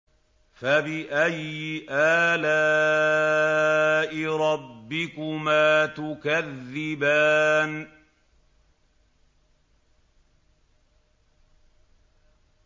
فَبِأَيِّ آلَاءِ رَبِّكُمَا تُكَذِّبَانِ